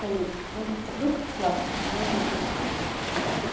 получше ну продукт классный по-моему это все оценили